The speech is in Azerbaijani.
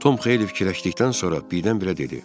Tom xeyli fikirləşdikdən sonra birdən-birə dedi: